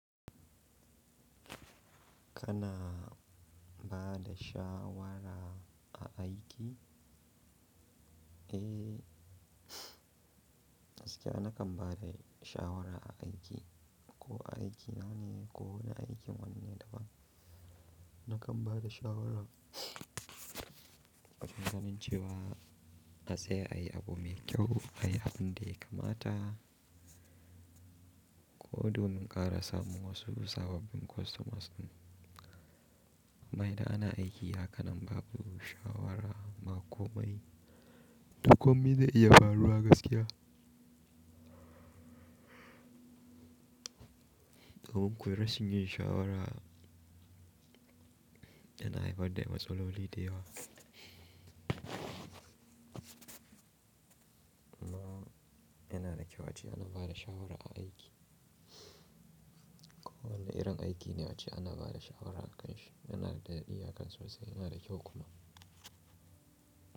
Kana ba da shawara a aiki? Eh, gaskiya nakan ba da shawara a aiki. Ko a aiki nawane? Ko wane aikin wanne daban. Nakan ba da shawara, wajen ganincewa na tsaya ayi abu mai kyau ayi abin da ya kamata. Ko domin kara samu wasu sababbin customers. Amma idan ana aiki hakanan babu shawara bakomai. Dukomin da iya faruwa gaskiya. Kunga ko rashi yin shawara yana haifar da matsaloli da yawa. Amma yana da kyau ace ana bada shawara a aiki. Ko wana irin aiki ne ace ana bada shawara a kanshi. Yana da dadi hakan sosai, yana da kyau kuma.